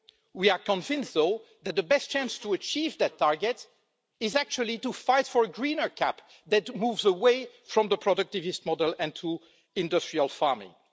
We are convinced, though, that the best chance of achieving that target is actually to fight for a greener CAP that moves away from the productivist model and to industrial farming.